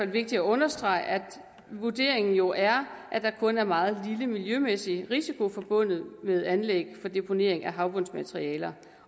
vigtigt at understrege at vurderingen jo er at der kun er en meget lille miljømæssig risiko forbundet med anlæg for deponering af havbundsmateriale